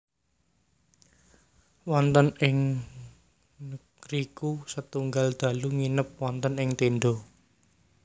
Wonten ing ngriku setunggal dalu nginep wonten ing tenda